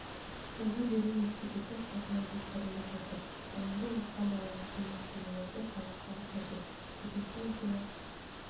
жалға беру институты қалпына келтіріліп отыр ал енді осыған байланысты мәселелерді талқылау қажет екінші мәселе